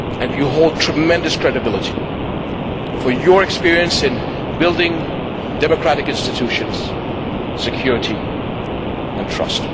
You have tremendous credibility for your experience in building democratic institutions, security and trust.